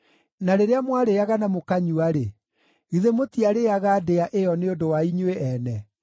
Na rĩrĩa mwarĩĩaga na mũkanyua-rĩ, githĩ mũtiarĩĩaga ndĩa ĩyo nĩ ũndũ wa inyuĩ ene?